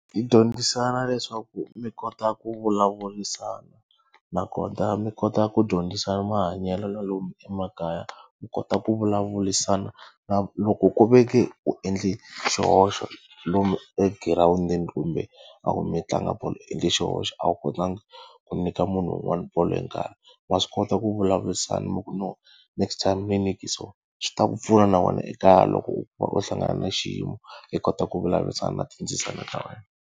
Yi dyondzisana leswaku mi kota ku vulavurisana, nakona mi kota ku dyondzisa mahanyelo na lomu emakaya. U kota ku vulavurisana na loko ku ve ke u endle xihoxo lomu egirawundini kumbe loko mi tlanga bolo u endle xihoxo, a wu kotanga ku nyika munhu un'wana bolo hi nkarhi. Wa swi kota ku vulavurisana mi ku no next time ni nyike so, swi ta ku pfuna na wena ekaya loko u kuma u hlangana na xiyimo i kota ku vulavurisana na tindzisana ta wena.